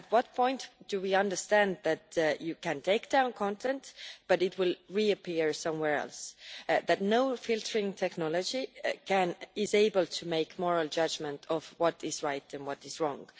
At what point do we understand that you can take down content, but it will reappear somewhere else that no filtering technology is able to make moral judgment of what is right and what is wrong?